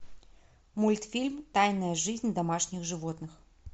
мультфильм тайная жизнь домашних животных